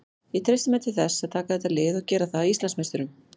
Ég treysti mér til þess að taka þetta lið og gera það að Íslandsmeisturum.